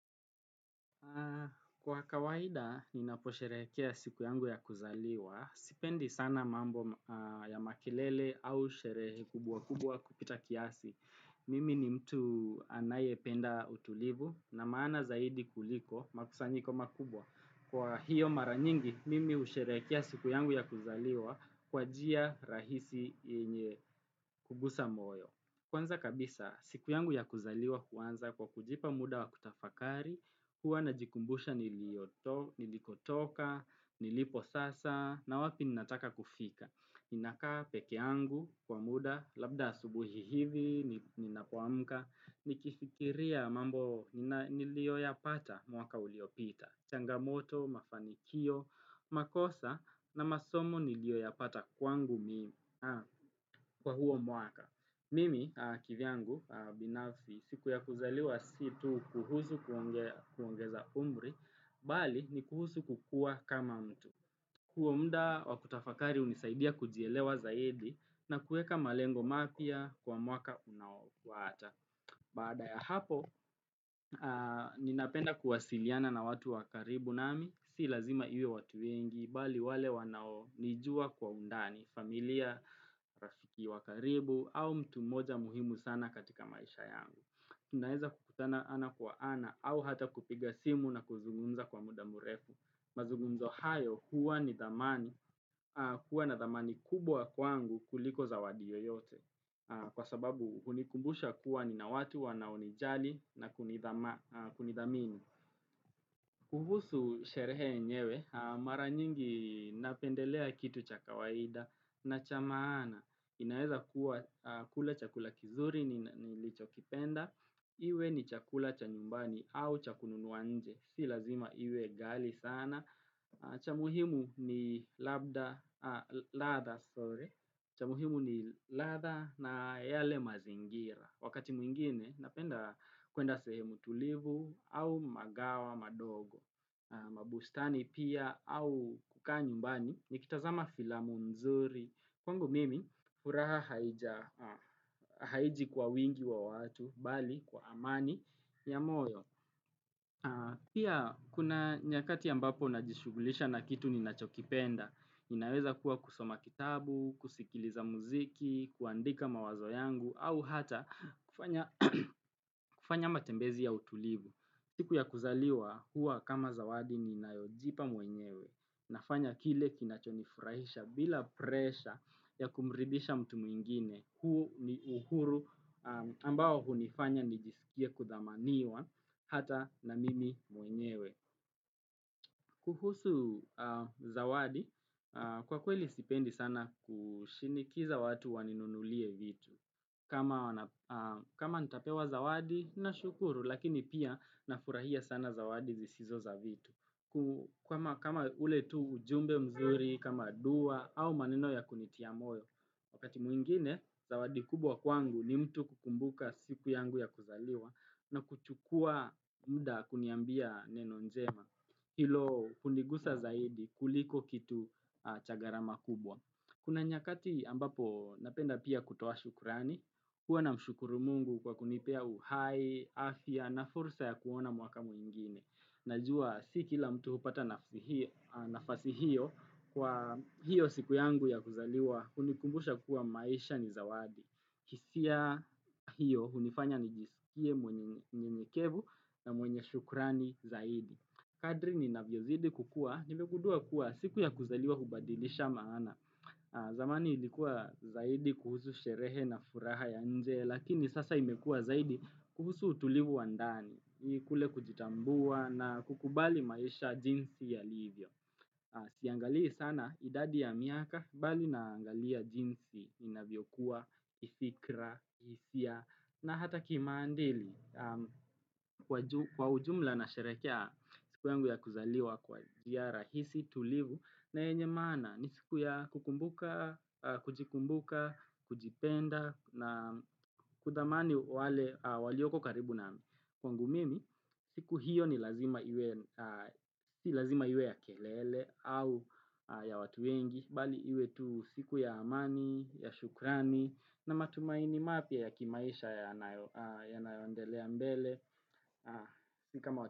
Kwa kawaida, ninapo sherehekea siku yangu ya kuzaliwa. Sipendi sana mambo ya makelele au sherehe kubwa kubwa kupita kiasi. Mimi ni mtu anayependa utulivu na maana zaidi kuliko makusanyiko makubwa. Kwa hiyo mara nyingi, mimi husherekea siku yangu ya kuzaliwa kwa njia rahisi yenye hugusa moyo. Kwanza kabisa, siku yangu ya kuzaliwa huanza kwa kujipa muda wa kutafakari, huwa najikumbusha nilikotoka, nilipo sasa, na wapi ninataka kufika. Ninakaa peke yangu kwa muda, labda asubuhi hivi, ninapoamka, nikifikiria mambo niliyoyapata mwaka uliopita. Changamoto, mafanikio, makosa, na masomo niliyoyapata kwangu mimi, kwa huo mwaka. Mimi kivyangu binafsi siku ya kuzaliwa si tu kuhusu kuongeza umri, mbali ni kuhusu kukua kama mtu. Huo muda wakutafakari hunisaidia kujielewa zaidi na kuweka malengo mapya kwa mwaka unaofuata Baada ya hapo, ninapenda kuwasiliana na watu wa karibu nami, si lazima iwe watu wengi, mbali wale wanaonijua kwa undani, familia, rafiki wakaribu, au mtu mmoja muhimu sana katika maisha yangu. Tunaweza kukutana ana kwa ana, au hata kupiga simu na kuzungumza kwa muda mrefu. Mazungunzo hayo, huwa ni dhamani, kuwa na dhamani kubwa kwangu kuliko zawadi yoyote. Kwa sababu, hunikumbusha kuwa ni na watu wanao nijali na kunidhamini. Kuhusu sherehe yenyewe mara nyingi napendelea kitu cha kawaida na cha maana inaweza kua kula chakula kizuri nilichokipenda iwe ni chakula cha nyumbani au cha kununua nje si lazima iwe ghali sana, cha muhimu ni labda, ladha, sorrry cha muhimu ni ladha na yale mazingira. Wakati mwingine napenda kuenda sehemu tulivu au magawa madogo. Mabustani pia au kukaa nyumbani nikitazama filamu mzuri. Kwangu mimi furaha haiji kwa wingi wa watu, mbali kwa amani ya moyo. Pia kuna nyakati ambapo najishughulisha na kitu ninachokipenda Ninaweza kuwa kusoma kitabu, kusikiliza muziki, kuandika mawazo yangu au hata kufanya kufanya matembezi ya utulivu siku ya kuzaliwa huwa kama zawadi ninayojipa mwenyewe nafanya kile kinachonifurahisha bila pressure ya kumridhisha mtu mwingine huu ni uhuru ambao hunifanya nijisikie kudhamaniwa hata na mimi mwenyewe. Kuhusu zawadi, kwa kweli sipendi sana kushinikiza watu waninunulie vitu. Kama kama nitapewa zawadi, nashukuru, lakini pia nafurahia sana zawadi zisizo za vitu. Kama ule tu ujumbe mzuri, kama dua, au maneno ya kunitia moyo. Wakati mwingine, zawadi kubwa kwangu ni mtu kukumbuka siku yangu ya kuzaliwa na kuchukua muda kuniambia neno njema. Hilo hunigusa zaidi kuliko kitu cha gharama kubwa. Kuna nyakati ambapo napenda pia kutoa shukurani, huwa namshukuru mungu kwa kunipea uhai, afya na fursa ya kuona mwaka mwingine. Najua si kila mtu hupata nafasi hiyo kwa hiyo siku yangu ya kuzaliwa hunikumbusha kuwa maisha ni zawadi. Hisia hiyo hunifanya nijisikie mwenye unyenyekevu na mwenye shukrani zaidi. Kadri ninavyozidi kukua, nimegundua kuwa siku ya kuzaliwa hubadilisha maana. Zamani ilikuwa zaidi kuhusu sherehe na furaha ya nje, lakini sasa imekua zaidi kuhusu utulivu wa ndani. Kule kujitambua na kukubali maisha jinsi yalivyo Siangalii sana idadi ya miaka mbali naangalia jinsi inavyokuwa, kifikra, hisia na hata kimandili Kwa ujumla nasherehekea siku yangu ya kuzaliwa kwa jnia rahisi tulivu na yenye maana ni siku ya kukumbuka, kujikumbuka, kujipenda na kudhamani wale walioko karibu na kwangu mimi siku hiyo si lazima iwe ya kelele au ya watu wengi mbali iwe tu siku ya amani, ya shukrani na matumaini mapya ya kimaisha yanayoendelea mbele Si kama.